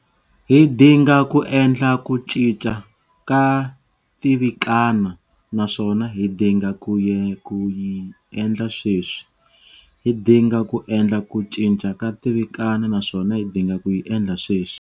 Hi dinga ku endla ku cinca ka tivikana naswona hi dinga ku yi endla sweswi. Hi dinga ku endla ku cinca ka tivikana naswona hi dinga ku yi endla sweswi.